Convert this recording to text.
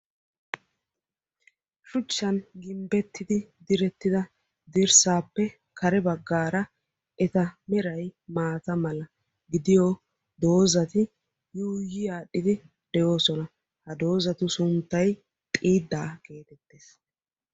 Shuchchan gimbbettidi direttida dirssappe kare baggaara eta meray maata mala gidiyo doozati yuiyyi aadhdhidi de'oosona. Ha doozatu sunttay xiida getettees.